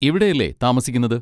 ഇവിടെയല്ലേ താമസിക്കുന്നത്?